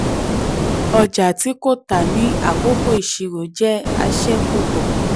ọjà tí kò tà ní àkókò ìṣirò jẹ́ àṣẹ̀kùbọ̀.